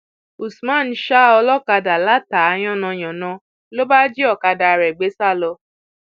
usman ṣa olókàdá látàá yánnayànna ló bá jí ọkadà rẹ gbé sá lọ